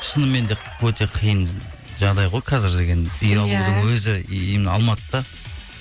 шыныменде өте қиын жағдай ғой қазір деген өзі алматыда